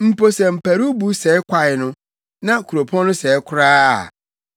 Mpo sɛ mparuwbo sɛe kwae no na kuropɔn no sɛe koraa a,